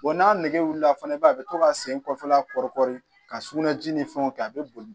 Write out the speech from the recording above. n'a nɛgɛ wulila fana i b'a ye a bɛ to ka sen kɔfɛla kɔrikuru ka sugunɛji ni fɛnw kɛ a bɛ boli